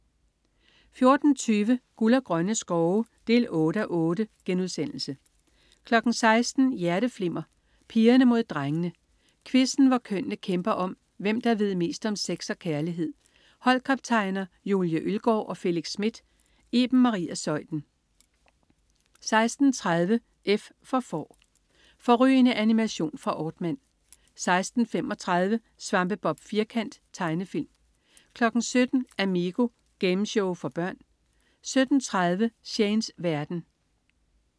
14.20 Guld og grønne skove 8:8* 16.00 Hjerteflimmer: Pigerne mod drengene. Quizzen hvor kønnene kæmper om, hvem der ved mest om sex og kærlighed. Holdkaptajner: Julie Ølgaard og Felix Smith. Iben Maria Zeuthen 16.30 F for Får. Fårrygende animation fra Aardman 16.35 Svampebob Firkant. Tegnefilm 17.00 Amigo. Gameshow for børn 17.30 Shanes verden